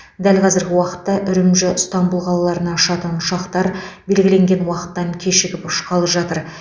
дәл қазіргі уақытта үрімжі ыстанбұл қалаларына ұшатын ұшақтар белгіленген уақыттан кешігіп ұшқалы жатыр